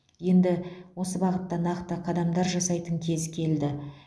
енді осы бағытта нақты қадамдар жасайтын кез келді